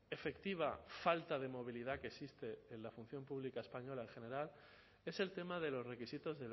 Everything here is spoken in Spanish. efectiva falta de movilidad que existe en la función pública española en general es el tema de los requisitos